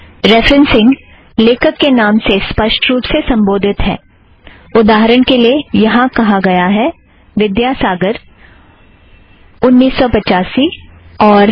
referencing लेखक के नाम से स्पष्ट रूप में संबोधित है उदाहरण के लिए यहाँ कहा गया है - विध्यासागर उन्नीस सौ पचासी और साल